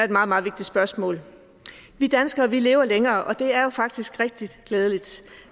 et meget meget vigtigt spørgsmål vi danskere lever længere og det er jo faktisk rigtig glædeligt